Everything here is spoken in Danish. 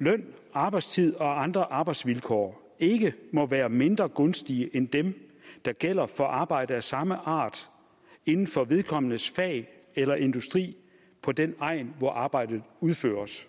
løn arbejdstid og andre arbejdsvilkår ikke må være mindre gunstige end dem der gælder for arbejde af samme art inden for vedkommendes fag eller industri på den egn hvor arbejdet udføres